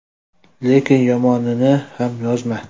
Lekin yomonini ham yozma.